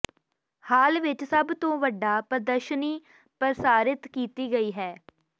ਹਾਲ ਵਿਚ ਸਭ ਤੋਂ ਵੱਡਾ ਪ੍ਰਦਰਸ਼ਨੀ ਪ੍ਰਦਰਸ਼ਿਤ ਕੀਤੀ ਗਈ ਹੈ